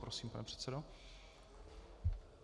Prosím, pane předsedo.